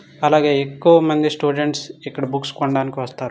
అలాగే ఎక్కువ మంది స్టూడెంట్స్ ఇక్కడ బుక్స్ కొనడానికి వస్తారు.